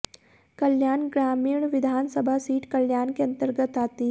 कल्याण ग्रामिण विधानसभा सीट कल्याण के अंतर्गत आती है